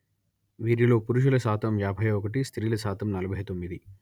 వీరిలో పురుషుల శాతం యాభై ఒకటి స్త్రీల శాతం నలభై తొమ్మిది